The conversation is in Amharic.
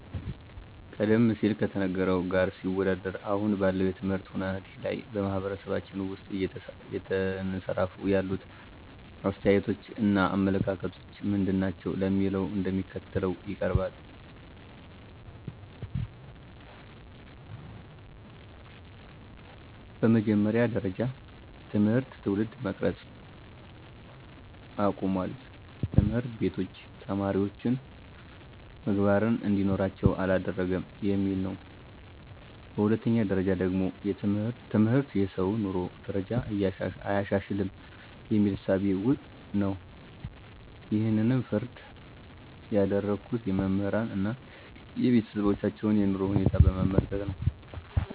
ቀደም ሲል ከነበረው ጋር ሲወዳደር አሁን ባለው የትምህርት ሁናቴ ላይ በማህበረሰባችን ውስጥ እየተንሰራፋ ያሉት አስተያየቶች እና አመለካከቶች ምንድናቸው ለሚለው እንደሚከተለው ይቀርባል፦ በመጀመሪያ ጀረጃ ትምህርት ትውልድ መቅረጽ አቁሟል፣ ትምህርቶች ቤቶች ተማሪወች ምግባርን እንዲኖራቸው አላደረገም የሚል ነው። በሁለተኛ ደረጃ ደግሞ ትምህርት የሰውን የኑሮ ደረጃ አያሻሽልም የሚል እሳቤ ነው ይሕንም ፍረጃ ያደረጉት የመምህራንን አና የቤተሰባቸውን የኑሮ ሁኔታ በመመልከት ነው።